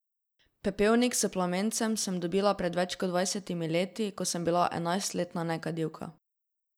Pepelnik s plamencem sem dobila pred več kot dvajsetimi leti, ko sem bila enajstletna nekadilka.